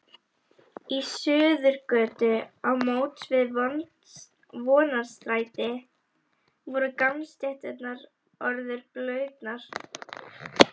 Í Suðurgötu á móts við Vonarstræti voru gangstéttir orðnar blautar.